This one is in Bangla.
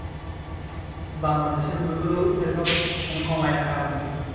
বাংলাদেশের মুভি গুলো এই রকম কম আয় আর কারণ কি?